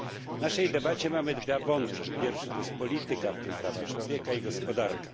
W naszej debacie mamy dwa wątki pierwszy to jest polityka, w tym prawa człowieka i gospodarka.